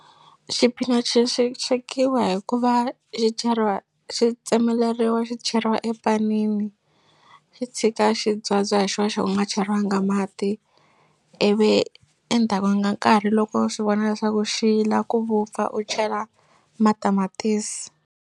Xipinachi xi swekiwa hikuva xi cheriwa xi tsemeleriwa xi cheriwa epanini xi tshika xi byabya hi xoxo u nga cheriwanga mati ivi endzhaku ka nkarhi loko u swi vona leswaku xi la ku vupfa u chela matamatisi.